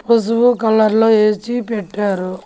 పొసుపు కలర్లో ఏసీ పెట్టారు.